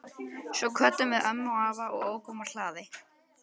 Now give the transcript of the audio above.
Svo kvöddum við ömmu og afa og ókum úr hlaði.